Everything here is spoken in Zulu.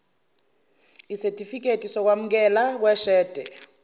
sesitifikedi sokwamukeleka kweshede